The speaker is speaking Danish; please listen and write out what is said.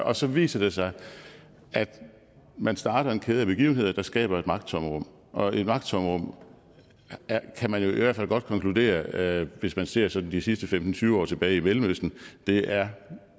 og så viser det sig at man starter en kæde af begivenheder der skaber et magttomrum og et magttomrum kan man jo i hvert fald godt konkludere hvis man ser sådan de sidste femten til tyve år tilbage i mellemøsten er